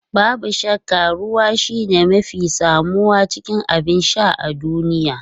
Babu shakka ruwa shine mafi samuwa cikin abin sha a duniya.